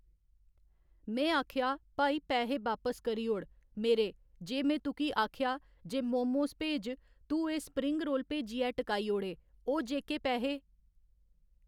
में आक्खेआ भाई पैहे वापस करी ओड़ मेरे जे में तुकी आक्खेआ जे मोमोस भेज तू एह् स्प्रिंग रोल भेजियै टकाई ओड़े ओह् जेह्‌के पैहे